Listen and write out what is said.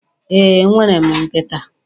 Ee, enwere m nkịta.